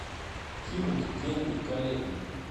кинуть деньги коллеге